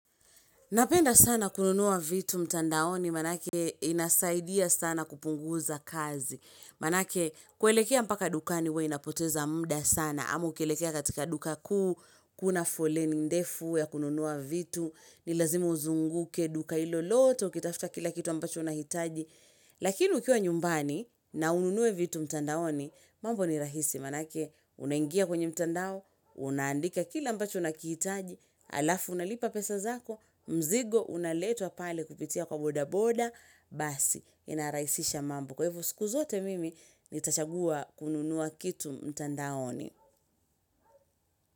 Napenda sana kununua vitu mtandaoni manake inasaidia sana kupunguza kazi. Manake kuelekea mpaka dukani huwa inapoteza mda sana. Ama ukielekea katika dukaku, kuna foleni ndefu ya kununuwa vitu. Ni lazima uzunguke duka hilo lote, ukitafta kila kitu ambacho unahitaji. Lakini ukiwa nyumbani na ununuwe vitu mtandaoni, mambo ni rahisi manake unaingia kwenye mtandao, unandika kila ambacho unakiitaji alafu unalipa pesa zako mzigo unaletwa pale kupitia kwa bodaboda basi inaraisisha mambo kwa hivo siku zote mimi nitachagua kununuwa kitu mtandaoni.